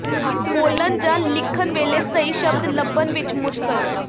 ਬੋਲਣ ਜਾਂ ਲਿਖਣ ਵੇਲੇ ਸਹੀ ਸ਼ਬਦ ਲੱਭਣ ਵਿੱਚ ਮੁਸ਼ਕਲ